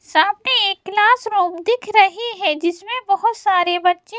सामने एक classroom दिख रही है जिसमें बहोत सारे बच्चे --